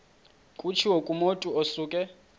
kutshiwo kumotu osuke